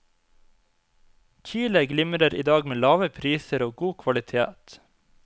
Chile glimrer i dag med lave priser og god kvalitet.